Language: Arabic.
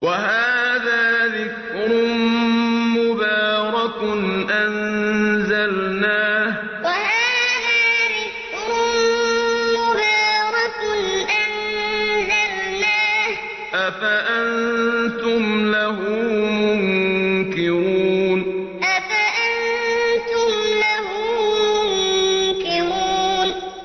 وَهَٰذَا ذِكْرٌ مُّبَارَكٌ أَنزَلْنَاهُ ۚ أَفَأَنتُمْ لَهُ مُنكِرُونَ وَهَٰذَا ذِكْرٌ مُّبَارَكٌ أَنزَلْنَاهُ ۚ أَفَأَنتُمْ لَهُ مُنكِرُونَ